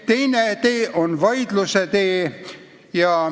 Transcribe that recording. Teine tee on vaidluse tee.